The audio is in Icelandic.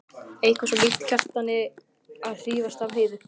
Eitthvað svo líkt Kjartani að hrífast af Heiðu.